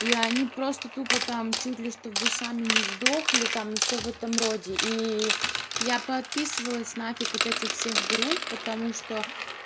и они просто тупо там чуть ли чтобы вы сами не сдохли там и всё в этом роде и я поотписывалась нафиг от этих всех групп потому что